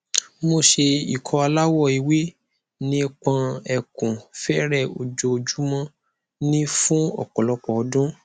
mo se ikọ alawọ ewe nipọn ekun fere ojoojumo ni fun opolopo odun